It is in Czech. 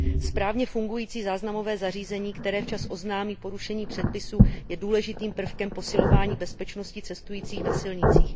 Správně fungující záznamové zařízení, které včas oznámí porušení předpisů, je důležitým prvkem posilování bezpečnosti cestujících na silnicích.